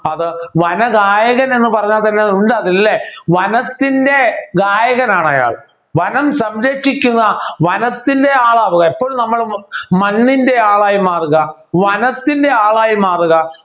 അത് വനഗായകൻ എന്ന് പറയാൻ പറ്റില്ല ഉണ്ട് അത് ല്ലേ വനത്തിൻ്റെ ഗായകനാണ് അയാൾ വനം സംരക്ഷിക്കുന്ന വനത്തിൻ്റെ ആളാണ് എപ്പോഴും നമ്മൾ മണ്ണിൻ്റെ ആളായി മാറുക വനത്തിൻ്റെ ആളായി മാറുക